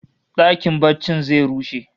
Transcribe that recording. Dakin barcin zai rushe